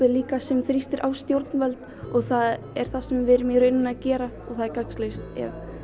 er líka sem þrýstir á stjórnvöld það er það sem við erum í rauninni að gera og það er gagnslaust ef